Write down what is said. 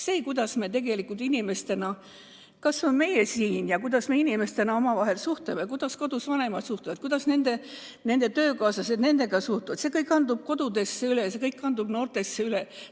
See, kuidas me tegelikult inimestena, kas või meie siin, omavahel suhtleme, kuidas kodus vanemad suhtlevad, kuidas nende töökaaslased nendega suhtlevad – see kõik kandub kodudesse üle, see kõik kandub noortesse üle.